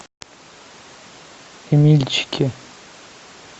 эмильчике